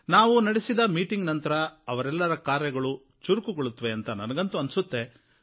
ನಾವು ನಡೆಸಿದ ಸಭೆಯ ನಂತರ ಅವರೆಲ್ಲರ ಕಾರ್ಯಗಳು ಚುರುಕುಗೊಳ್ಳುತ್ತವೆ ಅಂತ ನನಗಂತೂ ಅನ್ಸುತ್ತೆ